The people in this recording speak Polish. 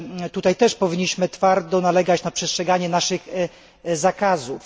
Tutaj też powinniśmy twardo nalegać na przestrzeganie naszych zakazów.